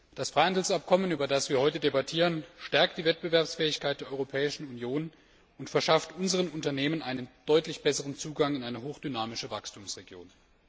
Das Freihandelsabkommen, über das wir heute diskutieren, stärkt die Wettbewerbsfähigkeit der Europäischen Union und verschafft unseren Unternehmen einen deutlich besseren Zugang in eine hochdynamische Wachstumsregion.